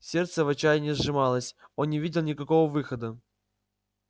сердце в отчаянии сжималось он не видел никакого выхода